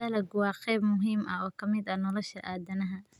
Dalaggu waa qayb muhiim ah oo ka mid ah nolosha aadanaha.